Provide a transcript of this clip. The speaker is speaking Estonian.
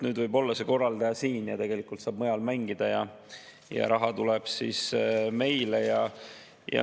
Nüüd võib see korraldaja olla siin, mängida saab mujal ja raha tuleb meile.